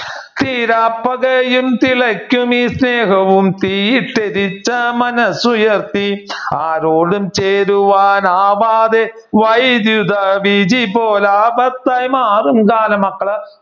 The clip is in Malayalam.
തീരാപ്പകയും തിളക്കുമീ സ്നേഹവും തീയിട്ട് മനസ്സുയർത്തി ആരോടുംചേരുവാൻ ആവാതെ വിധിപോലെ ആപത്തായി മാറും കാലം മക്കള്